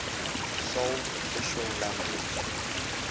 sole official language